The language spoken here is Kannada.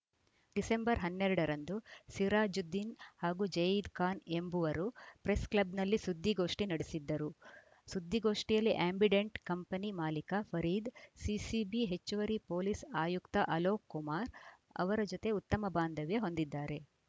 ಡಿಸೆಂಬರ್ ಹನ್ನೆರಡ ರಂದು ಸಿರಾಜುದ್ದೀನ್‌ ಹಾಗೂ ಜಯೀದ್‌ ಖಾನ್‌ ಎಂಬುವರು ಪ್ರೆಸ್‌ಕ್ಲಬ್‌ನಲ್ಲಿ ಸುದ್ದಿಗೋಷ್ಠಿ ನಡೆಸಿದ್ದರು ಸುದ್ದಿಗೋಷ್ಠಿಯಲ್ಲಿ ಆ್ಯಂಬಿಡೆಂಟ್‌ ಕಂಪನಿ ಮಾಲೀಕ ಫರೀದ್‌ ಸಿಸಿಬಿ ಹೆಚ್ಚುವರಿ ಪೊಲೀಸ್‌ ಆಯುಕ್ತ ಅಲೋಕ್‌ ಕುಮಾರ್‌ ಅವರ ಜತೆ ಉತ್ತಮ ಬಾಂಧವ್ಯ ಹೊಂದಿದ್ದಾರೆ